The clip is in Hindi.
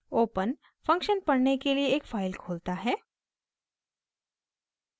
open फंक्शन पढ़ने के लिए एक फाइल खोलता है